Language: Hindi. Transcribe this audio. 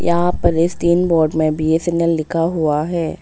यहां पर इस तीन बोर्ड में बी_एस_एन_एल लिखा हुआ है।